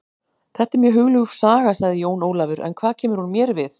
Þetta er mjög hugljúf saga, sagði Jón Ólafur, en hvað kemur hún mér við?